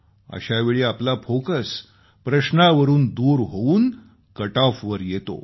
अशावेळी आपला फोकस प्रश्नावरून दूर होऊन कटऑफ वर येतो